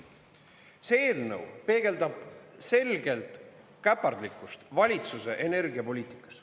See eelnõu peegeldab selgelt käpardlikkust valitsuse energiapoliitikas.